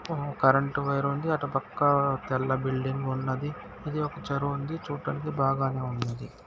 ఆ current wire ఉంది అటుపక్క తెల్ల బిల్డింగ్ వున్నది ఇది ఒక చెరువు ఉన్నది చూడ్డానికి బాగానే ఉంది.